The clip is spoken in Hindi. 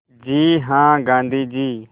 जी हाँ गाँधी जी